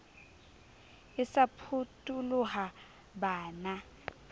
e sa phutoloha ba na